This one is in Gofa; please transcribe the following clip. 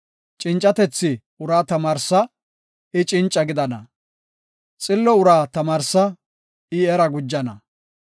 Cincatethi uraa tamaarsa; I cinca gidana; Xillo uraa tamaarsa; I era gujana.